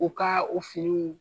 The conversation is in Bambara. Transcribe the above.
U ka o finiw